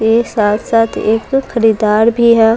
साथ साथ एक खरीददार भी है।